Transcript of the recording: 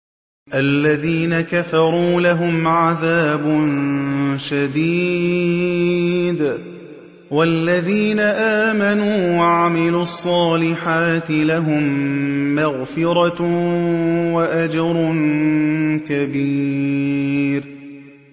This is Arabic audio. الَّذِينَ كَفَرُوا لَهُمْ عَذَابٌ شَدِيدٌ ۖ وَالَّذِينَ آمَنُوا وَعَمِلُوا الصَّالِحَاتِ لَهُم مَّغْفِرَةٌ وَأَجْرٌ كَبِيرٌ